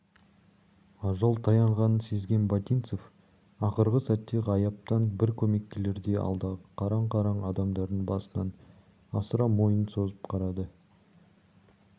ажал таянғанын сезген ботинцев ақырғы сәтте ғайыптан бір көмек келердей алдағы қараң-қараң адамдардың басынан асыра мойнын созып қарады